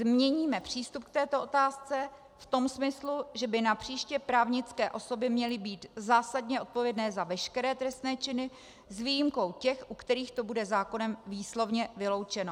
Změníme přístup k této otázce v tom smyslu, že by napříště právnické osoby měly být zásadně odpovědné za veškeré trestné činy s výjimkou těch, u kterých to bude zákonem výslovně vyloučeno.